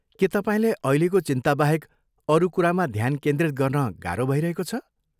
के तपाईँलाई अहिलेको चिन्ताबाहेक अरू कुरामा ध्यान केन्द्रित गर्न गाह्रो भइरहेको छ?